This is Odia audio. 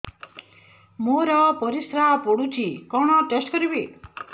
ମୋର ପରିସ୍ରା ପୋଡୁଛି କଣ ଟେଷ୍ଟ କରିବି